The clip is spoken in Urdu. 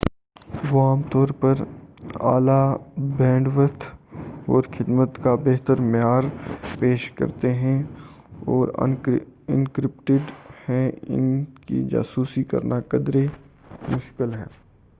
وہ عام طور پر اعلیٰ بینڈوتھ اور خدمت کا بہترمعیار پیش کرتے ہیں وہ انکرپٹڈ ہیں اور اُن کی جاسوسی کرنا قدرے مُشکل ہے